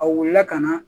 A wulila ka na